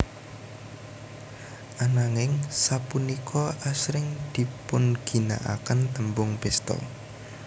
Ananging sapunika asring dipunginakaken tembung pesta